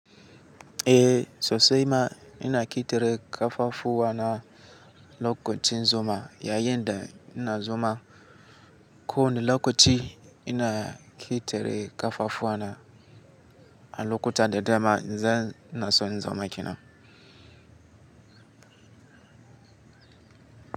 Eh sosai ma ina ƙitire ƙafafuwa na lokacin zuma yayinda ina zuma, ko in lokaci ina ƙitire ƙafafuwa na a lokutan da dama zan naso in zama kina.